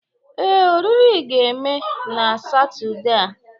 Ee, oriri a ga-eme na Satọde a.